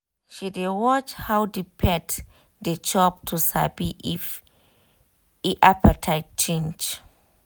she dey watch how the how the pet dey chop to sabi if e appetite change